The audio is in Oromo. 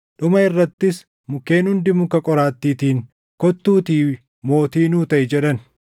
“Dhuma irrattis mukkeen hundi muka qoraattiitiin, ‘Kottuutii mootii nuu taʼi’ jedhan.